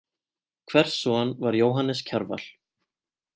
Hvers son var Jóhannes Kjarval?